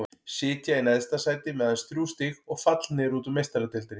Sitja í neðsta sæti með aðeins þrjú stig og fallnir út úr Meistaradeildinni.